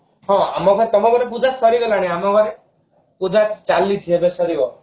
ହଁ ଆମର ତମ ଘରେ ପୂଜା ସରିଗଲାଣି ଆମ ଘରେ ପୂଜା ଚାଲିଛି ଏବେ ସରିବ